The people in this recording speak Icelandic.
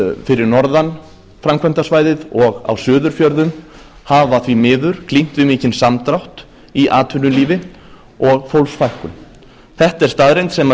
fyrir norðan framkvæmdasvæðið og á suðurfjörðum hafa því miður glímt við mikinn samdrátt í atvinnulífi og fólksfækkun þetta er staðreynd sem